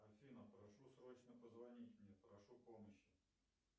афина прошу срочно позвонить мне прошу помощи